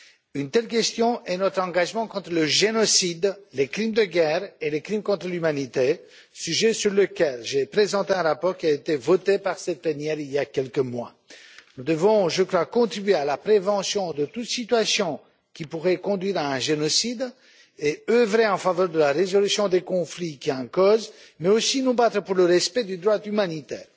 L'une de ces questions est notre engagement contre le génocide, les crimes de guerre et les crimes contre l'humanité, sujet sur lequel j'ai présenté un rapport qui a été voté par cette plénière il y a quelques mois. Nous devons, je crois, contribuer à la prévention de toute situation qui pourrait conduire à un génocide et œuvrer en faveur de la résolution des conflits qui en sont la cause, mais aussi nous battre pour le respect du droit humanitaire.